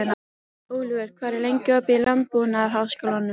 Oliver, hvað er lengi opið í Landbúnaðarháskólanum?